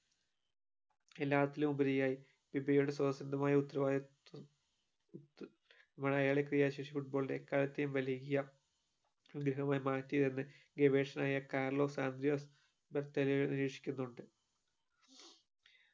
എല്ലാത്തിലുമുപരിയായി ഉത്തരവാദിത്വം വലിയ ഗെവേഷകനായ കാർലോസ് സന്ജയോസ്